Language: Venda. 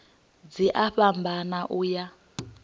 dzi a fhambana u ya